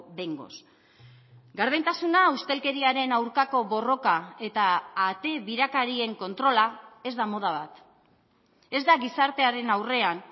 behingoz gardentasuna ustelkeriaren aurkako borroka eta ate birakarien kontrola ez da moda bat ez da gizartearen aurrean